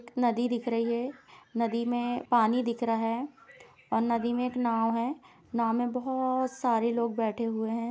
नदी दिख रही है। नदी में पानी दिख रहा है और नदी में एक नाव है। नाव में बहोत सारे लोग बैठे हुए हैं।